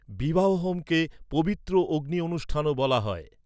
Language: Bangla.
বিবাহ হোমকে 'পবিত্র অগ্নি অনুষ্ঠান'ও বলা হয়।